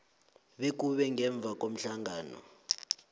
bekube ngemva komhlangano